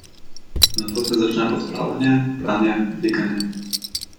Nato se začne pospravljanje, pranje, likanje.